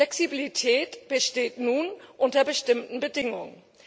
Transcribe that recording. Flexibilität besteht nun unter bestimmten Bedingungen.